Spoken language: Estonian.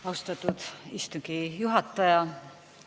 Austatud istungi juhataja!